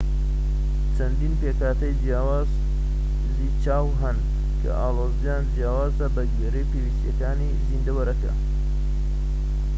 چەندین پێکهاتەی جیاوازی چاو هەن کە ئاڵۆزیان جیاوازە بە گوێرەی پێویستیەکانی زیندەوەرەکە